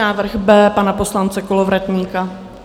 Návrh B pana poslance Kolovratníka.